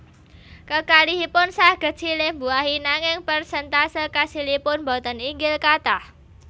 Kekalihipun saged silih mbuahi nanging perséntase kasilipun boten inggil kathah